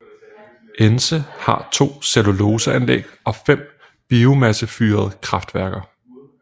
Ence har to celluloseanlæg og 5 biomassefyrede kraftværker